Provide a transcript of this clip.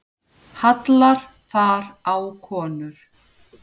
Hallar þar á konur.